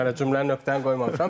Hələ cümlənin nöqtəni qoymamışam.